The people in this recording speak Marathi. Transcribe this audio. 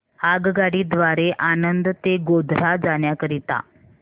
आगगाडी द्वारे आणंद ते गोध्रा जाण्या करीता